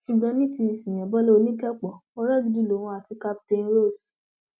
ṣùgbọn ní ti síyáńbọlá oníkẹẹpó ọrẹ gidi lòun àti captain ross